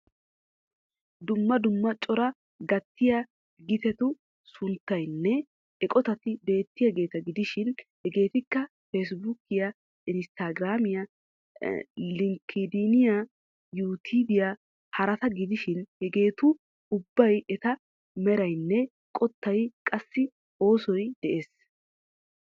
Dumma dumma cora gattiya gitetu sunttaynne eqotat beettiyaageeta gidishiin hegeettikka facebuukiyaa, instagraamiya, linkeediniya, yutuubiyaa, twiteriyaa, watisppiya, pinterestiya, snapchtiya, telegramiya, tiktookiyanne harata gidishiin hageettu ubbawu eta meraynne qottay, qassi oosoy dees.